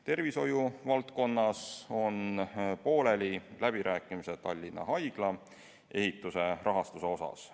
Tervishoiuvaldkonnas on pooleli läbirääkimised Tallinna Haigla ehituse rahastuse üle.